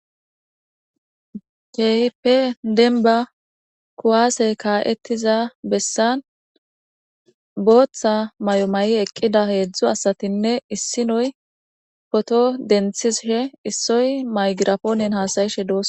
Keehippe demba kuwasey ka'etiza besan bootha mayo mayi eqida hezdzdu asatinne issoy poto denthishe, issoy microphonen hasa'ishe dosona.